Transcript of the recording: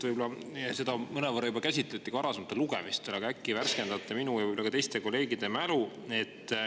Võib-olla seda mõnevõrra juba käsitleti ka varasematel lugemistel, aga äkki värskendate minu ja teiste kolleegide mälu.